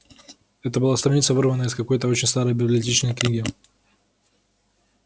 это была страница вырванная из какой-то очень старой библиотечной книги